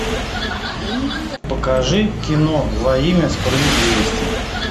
покажи кино во имя справедливости